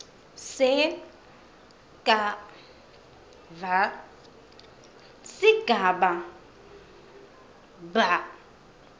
skv sigaba b